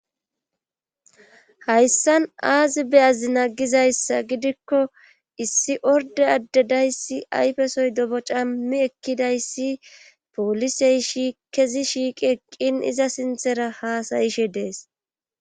hayssan aazi beyazina gizayssa gidikko issi orde addedayssi ayfesoy dobo cammi ekkidayssi poolisey kezi shiiqi eqqin iza sinthera haasayishe dees.